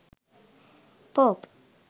pope